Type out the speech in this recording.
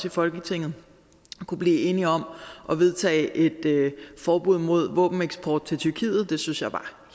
i folketinget kunne blive enige om at vedtage et forbud mod våbeneksport til tyrkiet det synes jeg var